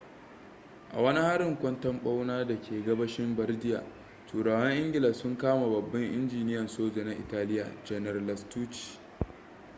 a wani harin kwanton-bauna da ke gabashin bardia turawan ingila sun kame babban injiniyan soja na italia janar lastucci